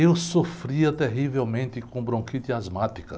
Eu sofria terrivelmente com bronquite asmática.